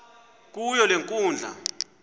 kuyo le nkundla